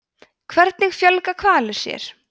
hvernig fjölga hvalir sér